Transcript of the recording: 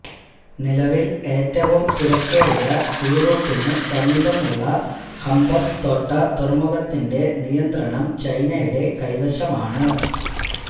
നിലവില് ഏറ്റവും തിരക്കേറിയ സീ റൂട്ടിന് സമീപമുളള ഹമ്പന്ത്തോട്ട തുറമുഖത്തിന്റെ നിയന്ത്രണം ചൈനയുടെ കൈവശമാണ്